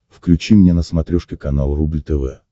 включи мне на смотрешке канал рубль тв